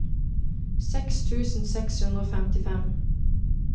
seks tusen seks hundre og femtifem